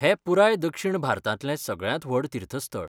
हें पुराय दक्षिण भारतांतलें सगळ्यांत व्हड तीर्थस्थळ.